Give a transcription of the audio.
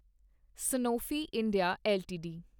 Sanofi India LTD